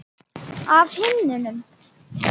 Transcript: Af himnum?